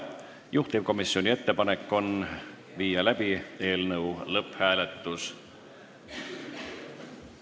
Juhtivkomisjoni ettepanek on viia läbi eelnõu lõpphääletus.